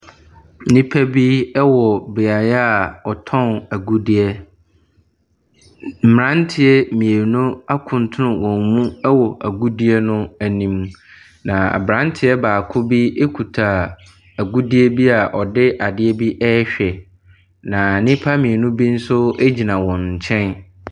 Nnipa bi wɔ beaeɛ a wɔtɔn agudeɛ. Mmeranteɛ mmienu akutunu wɔn mu wɔ agudeɛ no anim. Na aberanteɛ baako kitw agudie a ɔde adeɛ bi ɛrehwɛ. Na nnipa mmienu nso wɔ wɔn nkyɛn.